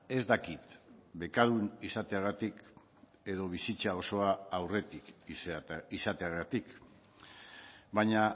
ez dakit bekadun izateagatik edo bizitza osoa aurretik izateagatik baina